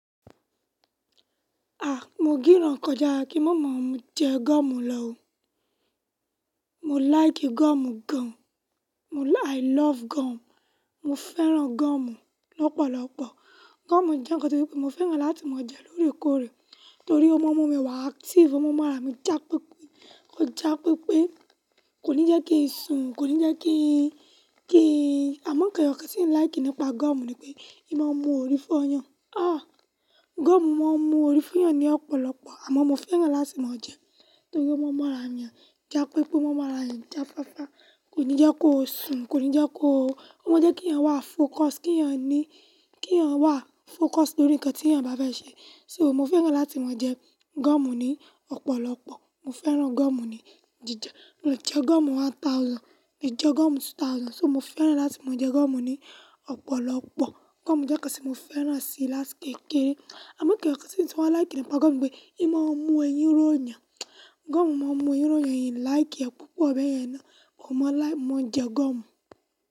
A! Mo gìràn kọjá kí mo máa jẹ gọ́mù lọ ò. Mo like gọ́mù gan. I love gọ́mù. Mo fẹ́ràn gọ́mù lọ́pọ̀lọpọ̀. Gọ́mù jẹ́ nǹkan tó se pé mo fẹ́ràn láti máa jẹ lóòrèkóòrè torí ó mú ọmọ mi wà active, ó mo mú ara mi jàpépé, kó jà pé pé kò ní jẹ́ kín sùn, kò ní jẹ́ kín, kín, àmọ̀ nkan eyọkàn tìń like nípa gọ́omù ni pé, ì máa mú orí fóọyàn. Ah! Gọ́mù máa ń mú orí foọyàn ní ọ̀pọ̀lọpọ̀ àmọ́ mo fẹ́ràn láti máa jẹ ẹ́ torí ó mú ọmọ ará'yan jà pé pé, ó mú ọmọ ará'yan jàfáfa, kò ní jẹ́ kó sùn, kò ní jẹ́ kó, ó máa ń jẹ́ kí èèyàn wà focus, kí èèyàn ní, kí èèyàn wà focus lórí ǹkan tí èèyàn bá fẹ́ ṣe. So mo fẹ́ràn láti máa jẹ gọ́mù ní ọ̀pọ̀lọpọ̀. Mo fẹ́ràn gọ́mù ní jíjẹ. Mo jẹ gọ́mù one thousand, mo jẹ gọ́mù two thousand. So mo fẹ́ràn láti máa jẹ gọ́mù ní ọ̀pọ̀lọpọ̀. Gọ́mù jẹ́ ǹkan tí mo fẹ́ràn sí látí kékéré. Àmọ́ nkan eyọkàn tì ń tunbwa laiki nípa gọ́mù nipé, ì máa ń mú eyín rọ̀'yàn. Gọ́mù máa ń mú eyín rọ̀'yàn, ì ń like ẹ́ púpọ̀ bẹyẹn náà, mo máa like, mo máa jẹ gọ́mù.